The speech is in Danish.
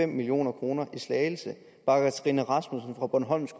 million kroner i slagelse bakker trine rasmussen fra bornholms